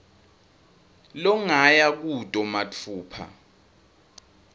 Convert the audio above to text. longaya kuto matfupha